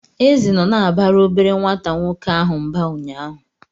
Eze nọ na-abara obere nwata nwoke ahụ mba ụnyaahụ.